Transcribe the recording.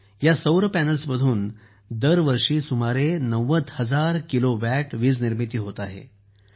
आज या सौर पॅनेलमधून दरवर्षी सुमारे ९० हजार किलोवॅट वीजनिर्मिती होत आहे